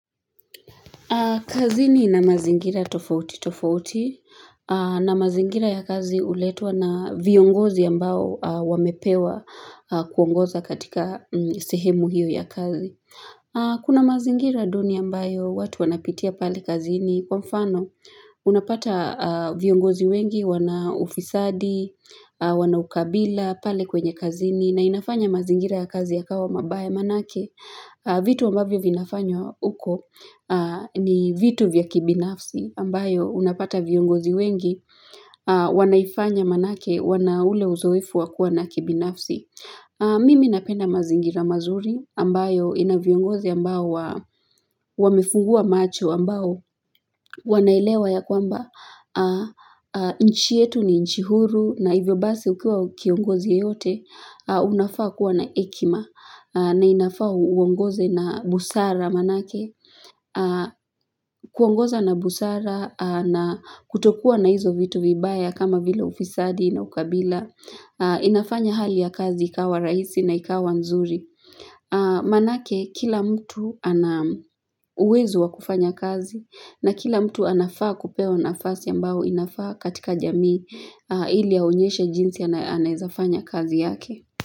Kazini ina mazingira tofauti tofauti. Na mazingira ya kazi uletwa na viongozi ambao wamepewa kuongoza katika sehemu hio ya kazi. Kuna mazingira duni ambayo watu wanapitia pale kazini kwa mfano unapata viongozi wengi wana ufisadi, wana ukabila pale kwenye kazini. Na inafanya mazingira ya kazi ya kawa mabaya manake vitu ambavyo vinafanywa huko ni vitu vya kibinafsi ambayo unapata viongozi wengi wanaifanya manake wana ule uzoefu wa kua na ubinafsi mimi napenda mazingira mazuri ambayo ina viongozi ambao wamefungua macho ambao wanaelewa ya kwamba nchi yetu ni nchi huru na hivyo basi ukiwa kiongozi yeyote, unafaa kuwa na hekima na inafaa uongoze na busara manake kuongoza na busara na kutokuwa na hizo vitu vibaya kama vila ufisadi na ukabila inafanya hali ya kazi ikawa rahisi na ikawa nzuri Manake, kila mtu ana uwezo wa kufanya kazi na kila mtu anafaa kupewa nafasi ambao inafaa katika jamii ili aonyeshe jinsi anaeza fanya kazi yake.